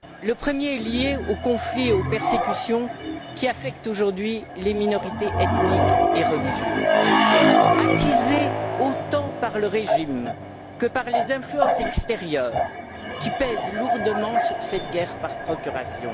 Le premier est lié aux conflits et aux persécutions qui affectent aujourd'hui les minorités ethniques et religieuses, attisés autant par le régime que par les influences extérieures, qui pèsent lourdement sur cette guerre par procuration.